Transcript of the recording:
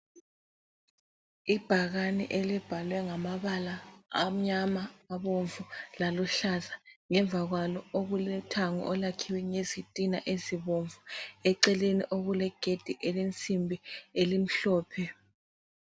Ibhakane elibhalwe ngamabala amnyama, abomvu laluhlaza. Ngemva kwalo okulothango olwakhiwe ngezitina ezibomvu, eceleni okulegedi elensimbi elimhlophe.